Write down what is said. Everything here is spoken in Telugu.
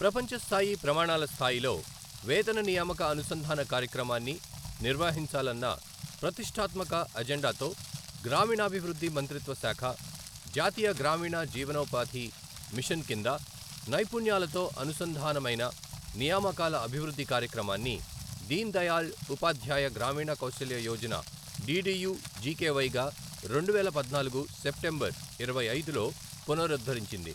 ప్రపంచస్థాయి ప్రమాణాల స్థాయిలో వేతన నియామక అనుసంధాన కార్యక్రమాన్ని నిర్వహించాలన్న ప్రతిష్ఠాత్మక అజెండాతో గ్రామీణాభివృద్ధి మంత్రిత్వ శాఖ, జాతీయ గ్రామీణ జీవనోపాధి మిషన్ కింద నైపుణ్యాలతో అనుసంధానమైన నియామకాల అభివృద్ధి కార్యక్రమాన్ని దీన్దయాళ్ ఉపాధ్యాయ గ్రామీణ కౌశల్య యోజన డిడియు జికెవై గా రెండువేల పద్నాలుగు సెప్టెంబర్, ఇరవై ఐదులో పునరుద్ధరించింది.